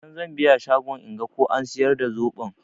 Daga can zan biya shagon inga ko an siyar da zoɓon.